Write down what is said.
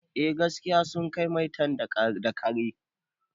Eh gaskiya sun kai maitan da kare